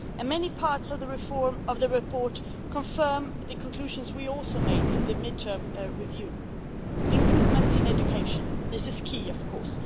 Many parts of the report confirm the conclusions we also made in the mid term review improvements in education, this is key of course.